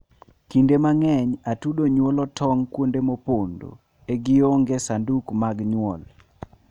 kinde mangeny atudo nyuolo tong kuonde mopondo a gionge sanduke mag nyuol